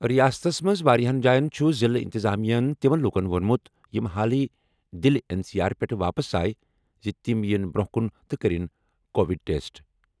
رِیاستس منٛز واریٛاہَن جایَن چھُ ضِلعہٕ اِنتِظامیاہَن تِمَن لوٗکَن ووٚنمُت یِم حالٕے دِلہِ این سی آر پٮ۪ٹھٕ واپس آیہِ زِ تِم یِن برٛونٛہہ کُن تہٕ کٔرِن کووِڈ ٹیسٹ